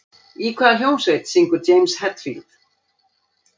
Í hvaða hljómsveit syngur James Hetfield?